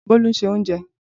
Bolu n se ounje.